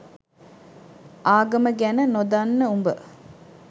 ආගම ගැන නොදන්න උඹ